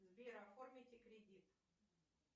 сбер оформите кредит